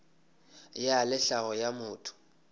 ya le tlhago ya motho